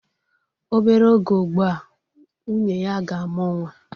Obere oge ugbu a, nwunye ya ga-amụ nwa.